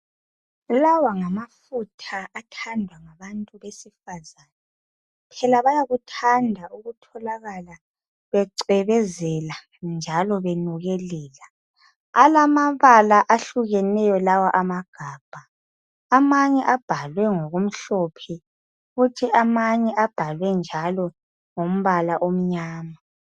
Lawa ngamafutha athandwa ngabantu besifazana. Phela bayakuthanda ukutholakala becwebezela njalo benukelela. Alamabala ahlukeneyo lawa amagabha amanye abhalwe ngokumhlophe kuthi amanye abhalwe njalo ngombala omnyama.